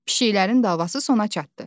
Pişiklərin davası sona çatdı.